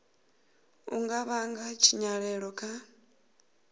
u nga vhanga tshinyalelo kha